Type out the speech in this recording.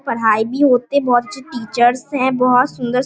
पढ़ाई भी होते है बहुत अच्छे टीचर्स हैं बहुत सुन्दर --